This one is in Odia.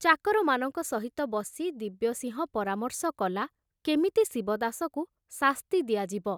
ଚାକରମାନଙ୍କ ସହିତ ବସି ଦିବ୍ୟସିଂହ ପରାମର୍ଶ କଲା କେମିତି ଶିବଦାସକୁ ଶାସ୍ତି ଦିଆଯିବ।